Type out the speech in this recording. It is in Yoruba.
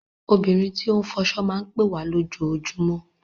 Obìnrin tó ń fọṣọ máa ń pẹ́ wá lójoojúmọ́.